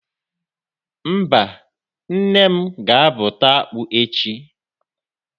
Mba, nne m ga-abụta akpụ echi.